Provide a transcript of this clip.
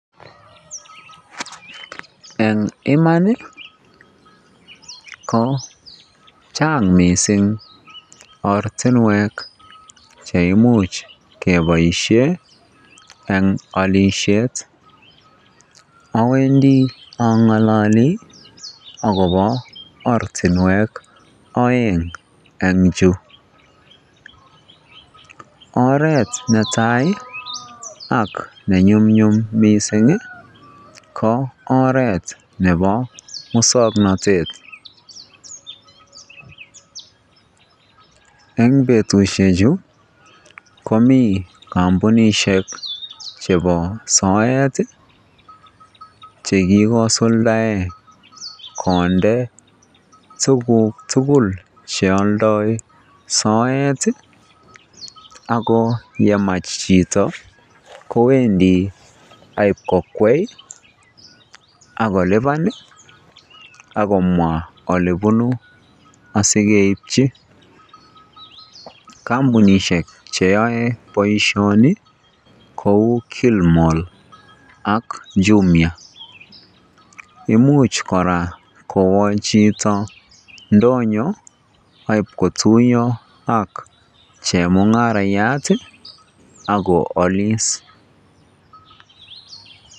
Eng iman ko chang mising ortinwek cheimuch keboishen eng olisiet, owendi ongololi akobo ortinwek oeng en chuu, oreet netai ak ne nyumnyum mising ko oreet nebo muswoknotet, eng betushechu komii kombunishek chebo soet chekikosuldaen konde tukuk tukul cheoldoi soet ak ko yemach chito kowendi ak iib kokwai ak koliban ak komwa olebunu asikeibchi kombunishek cheyoe boishoni kouu Kilimol ak Jumia, imuch kora kowoo chito ndonyo ak iib kotuyo ak chemiungarayat ak ko oliis.